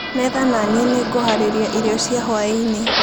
metha na nie nĩ ngũharĩria irio cia hwainĩ